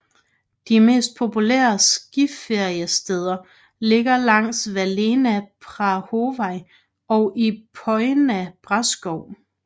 De mest populære skiferiesteder ligger langs Valea Prahovei og i Poiana Brașov